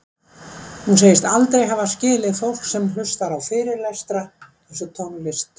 Hún segist aldrei hafa skilið fólk sem hlustar á fyrirlestra eins og tónlist